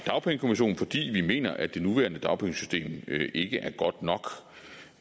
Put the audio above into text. dagpengekommission fordi vi mener at det nuværende dagpengesystem